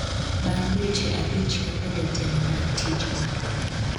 bang' dweche abich kaka jatelo mar tijno